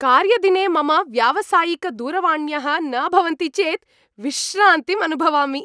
कार्यदिने मम व्यावसायिकदूरवाण्यः न भवन्ति चेत् विश्रान्तिम् अनुभवामि।